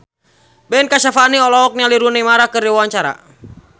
Ben Kasyafani olohok ningali Rooney Mara keur diwawancara